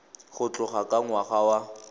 go tloga ka ngwaga wa